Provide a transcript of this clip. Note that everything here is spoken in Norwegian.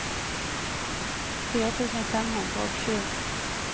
fire tusen fem hundre og sju